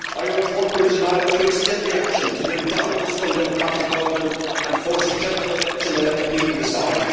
I urge workers in Ireland to extend the action, to bring down this undemocratic government and force a general election, and let the people decide.